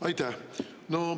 Aitäh!